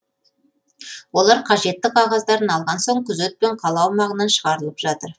олар қажетті қағаздарын алған соң күзетпен қала аумағынан шығаралып жатыр